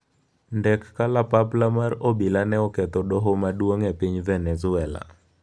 Ndek kalapapla mar obila ne oketho doho maduong' e piny Venezuela